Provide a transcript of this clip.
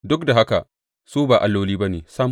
Duk da haka su ba alloli ba ne sam.